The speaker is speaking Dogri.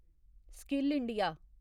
skill India